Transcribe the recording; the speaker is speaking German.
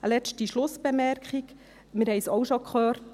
Eine letzte Schlussbemerkung, wir haben es schon gehört: